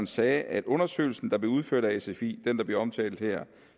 sagde at undersøgelsen der blev udført af sfi den der bliver omtalt her